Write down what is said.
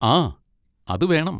ആ, അതുവേണം.